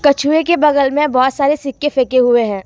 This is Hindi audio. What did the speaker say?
कछुए के बगल में बहोत सारे सिक्के फेंके हुए हैं।